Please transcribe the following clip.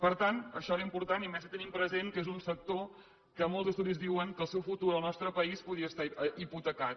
per tant això era important i més si tenim present que és un sector que molts estudis diuen que el seu futur al nostre país podia estar hipotecat